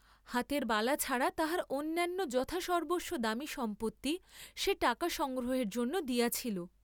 হাতের বালা ছাড়া তাহার অন্যান্য যথা সর্ব্বস্ব দামী সম্পত্তি সে টাকা সংগ্রহের জন্য দিয়াছিল!